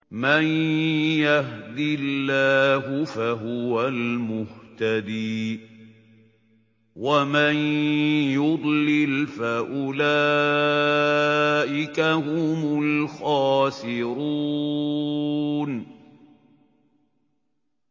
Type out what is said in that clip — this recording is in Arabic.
مَن يَهْدِ اللَّهُ فَهُوَ الْمُهْتَدِي ۖ وَمَن يُضْلِلْ فَأُولَٰئِكَ هُمُ الْخَاسِرُونَ